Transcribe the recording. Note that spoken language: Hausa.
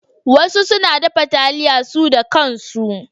Wasu suna dafa taliya su da kan su.